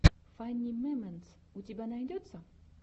фани мемэнтс у тебя найдется